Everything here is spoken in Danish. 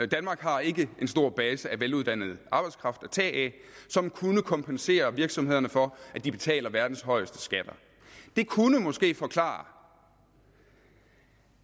danmark har ikke en stor base af veluddannet arbejdskraft at tage af som kunne kompensere virksomhederne for at de betaler verdens højeste skatter det kunne måske forklare